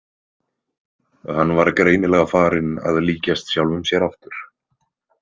Hann var greinilega farinn að líkjast sjálfum sér aftur.